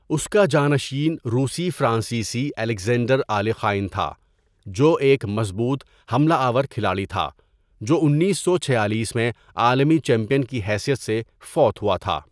اس کا جانشین روسی فرانسیسی الیگزینڈر آلے خائن تھا، جو ایک مضبوط حملہ آور کھلاڑی تھا جو انیسو چھیالیس میں عالمی چیمپئن کی حیثیت سے فوت ہوا تھا.